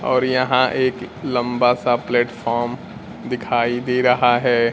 और यहां एक लंबा सा प्लेटफार्म दिखाई दे रहा है।